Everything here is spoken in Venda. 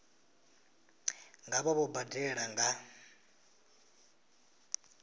nga vha vho badela nga